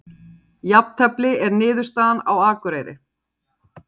Jafntefli er niðurstaðan á Akureyri